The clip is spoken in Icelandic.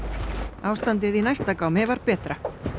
ástandið í næsta gámi var betra